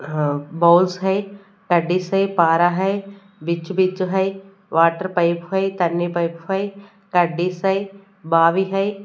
अह balls है teddies है पारा है है वाटर पाइप है है टेडीज हो है।